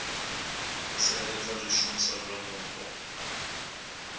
u tsireledza zwishumiswa zwa mupo